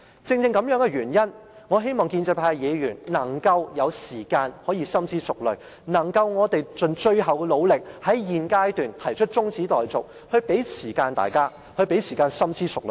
正因如此，我希望建制派的議員有時間能夠深思熟慮，而我們也要盡最後努力，在現階段提出中止待續議案，讓大家有時間深思熟慮。